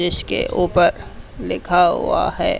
जिसके ऊपर लिखा हुआ है।